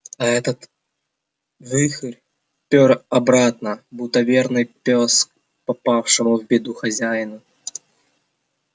а этот вихрь пер обратно будто верный пёс к попавшему в беду хозяину